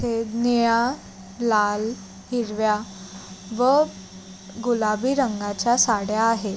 सफेद निळ्या लाल हिरव्या व गुलाबी रंगाच्या साड्या आहेत.